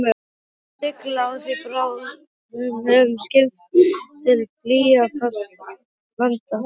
Nú sigla á því bráðnuð skip til blýfastra landa.